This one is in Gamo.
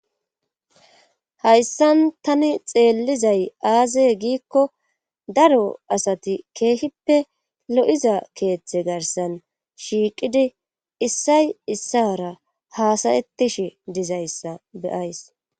hayssan tani xeellizay aaze giikko daro asati keehippe lo7iza keeththe garsan shiiqidi issay issara haasayettishi dizayssa beyays